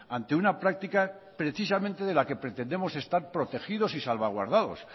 ante una práctica precisamente de la que pretendemos estar protegidos y salvaguardados